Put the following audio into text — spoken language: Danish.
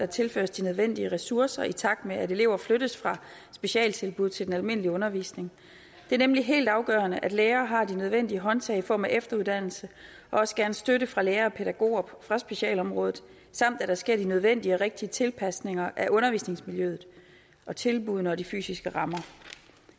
tilføres de nødvendige ressourcer i takt med at elever flyttes fra specialtilbud til den almindelige undervisning det er nemlig helt afgørende at lærere har de nødvendige håndtag i form af efteruddannelse og også gerne støtte fra lærere og pædagoger fra specialområdet samt at der sker de nødvendige og rigtige tilpasninger af undervisningsmiljøet og tilbuddene og de fysiske rammer